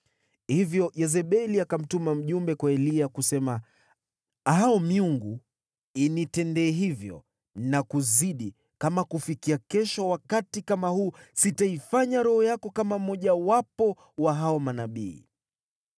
Hivyo Yezebeli akamtuma mjumbe kwa Eliya, kusema, “Hao miungu initendee hivyo na kuzidi, kama kufikia kesho wakati kama huu sitaifanya roho yako kama mmojawapo wa hao manabii.”